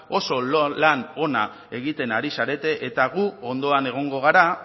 oso lan ona egiten ari zarete eta gu ondoan egongo gara